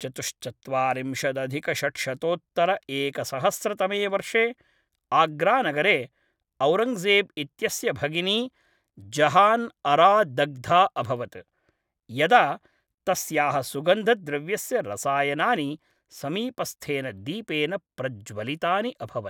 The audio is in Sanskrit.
चतुश्चत्वारिंशदधिकषड्शतोत्तरएकसहस्रतमे वर्षे आग्रानगरे औरङ्गजेब् इत्यस्य भगिनी जहान् अरा दग्धा अभवत्, यदा तस्याः सुगन्धद्रव्यस्य रसायनानि समीपस्थेन दीपेन प्रज्वलितानि अभवन्।